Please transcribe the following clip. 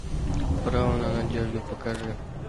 право на надежду покажи